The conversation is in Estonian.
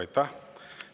Aitäh!